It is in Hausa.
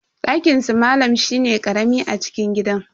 Dakinsu malam shine dan karami a cikin gidan.